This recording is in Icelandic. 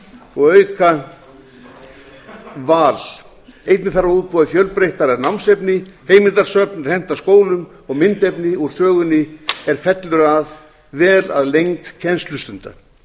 og auka val einnig þarf að útbúa fjölbreyttara námsefni heimildasöfn er henta skólum og myndefni úr sögunni er fellur vel að lengd kennslustunda